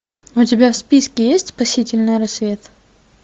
у тебя в списке есть спасительный рассвет